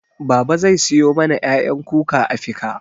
Babaa zai siyo mana ƴaƴan kuka a fika